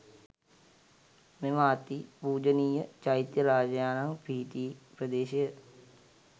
මෙම අති පූජනීය චෛත්‍ය රාජයාණන් පිහිටි ප්‍රදේශය